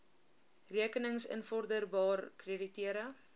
rekenings invorderbaar krediteure